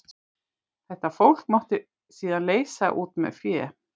Þetta fólk mátti síðan leysa út með fé.